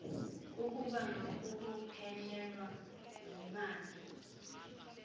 ukubhanga kukuphelelwa yimali